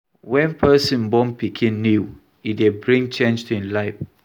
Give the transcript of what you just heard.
When person born pikin new, e dey bring change to im life